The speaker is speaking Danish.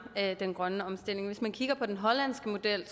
den grønne omstilling hvis man kigger på den hollandske model